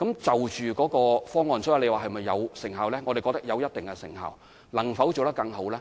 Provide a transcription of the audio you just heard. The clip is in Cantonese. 至於這方案有否具成效，我們覺得有一定的成效；至於能否做得更好？